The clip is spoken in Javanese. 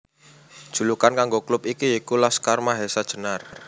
Julukan kanggo klub iki ya iku Laskar Mahesa Jenar